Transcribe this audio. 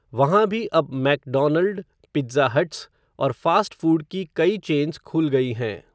वहाँ भी अब, मैकडॉनल्ड, पिट्ज़ा हट्स, और फ़ास्ट फ़ूड की कई चेन्स खुल गई हैं